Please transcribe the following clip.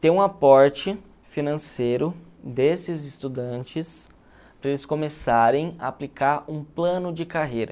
ter um aporte financeiro desses estudantes, para eles começarem a aplicar um plano de carreira.